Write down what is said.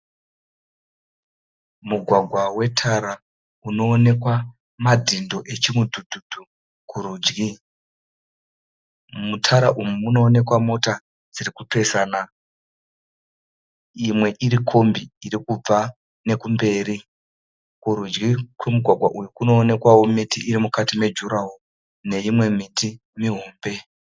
Mugwagwa wetara unonekwa madhindo echimudhudhudhu kurudyi. Mutara umu muno onekwa mota dziri kupesana imwe iri kombi iri kubva nekumberi. Kurudyi kwemugwagwa uyu kuno onekwawo miti iri mukati mejurahoro neimwe miti mihombe.